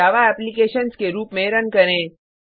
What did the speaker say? जावा applications के रुप में रन करें